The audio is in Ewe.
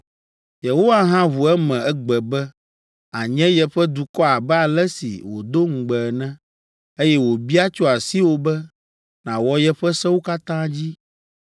Yehowa hã ʋu eme egbe be ànye yeƒe dukɔ abe ale si wòdo ŋugbe ene, eye wòbia tso asiwò be nàwɔ yeƒe sewo katã dzi.